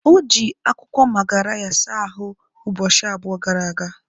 O ji akwụkwọ magarya saa ahụ ụbọchị abụọ gara aga.